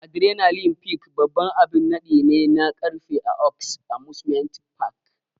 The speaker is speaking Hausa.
Adrenaline Peak babban abin naɗi ne na karfe a Oaks Amusement Park.